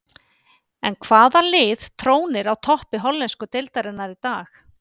En hvaða lið trónir á toppi hollensku deildarinnar í dag?